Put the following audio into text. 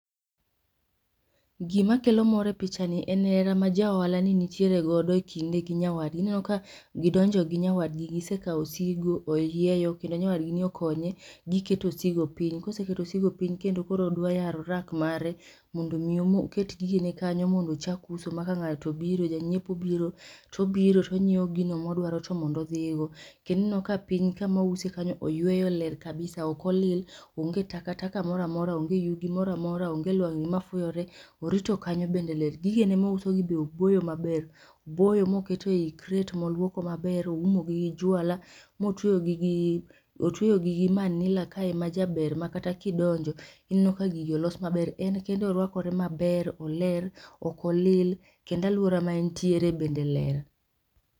Gima kelo mor e pichani en hera ma ja ohala ni nitiere godo ekinde gi nyawadgi. Ineno ka gidonjo gi nyawadgi, gise kawo osigo, oyieyo kendo nyawad gini okonye giketo osigo piny. Koseketo osigo piny kendo koro odwa yaro rak mare mondo mi omo oket gigene kanyo mondo ochak uso ma kang'ato obiro, ja nyiepo obiro to obiro o nyiewo gino ma odwaro to mondo odhigo. Kendo ineno ka piny kama ouse kanyo oyueyo ler kabisa, ok olil onge takataka moro amora onge yugi moro amora, onge lwang'ni ma fuyore. Orito kanyo bende ler, gigene mousogi be oboyo maber. Oboyo moketo ei kret moluoko maber, oumogi gi juala motweyogi otueyo gi gi manila majaber makata kidonjo, ineno ka gigi olos maber. En kende oruakore maber, oler ok olil kendo aluora ma entiere bende ler.